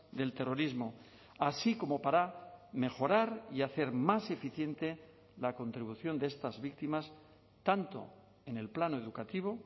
del terrorismo así como para mejorar y hacer más eficiente la contribución de estas víctimas tanto en el plano educativo